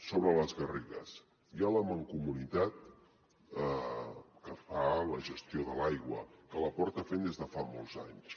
sobre les garrigues hi ha la mancomunitat que fa la gestió de l’aigua que la porta fent des de fa molts anys